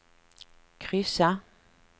kryssa